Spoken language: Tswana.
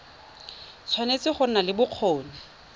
tshwanetse go nna le bokgoni